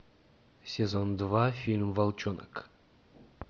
сезон два фильм волчонок